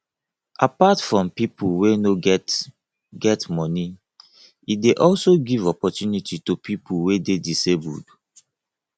apart from pipo wey no get get moni e de also give opportunity to pipo wey de disabled